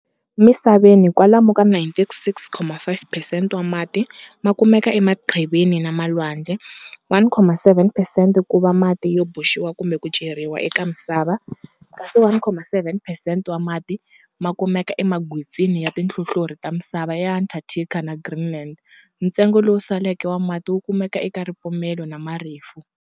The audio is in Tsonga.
Misaveni kwalomu ka 96.5 percent wa mati makumeka emaqhivini na malwandle, 1.7 percent kuva mati yo boxiwa kumbe kuceriwa eka misava, kasi 1.7 percent wa mati makumeka emagwitsini ya tinhlohlorhi ta misava eAntarctica na Greenland, ntsengo lowu saleka wa mati wukumeka eka ripumele na Marifu.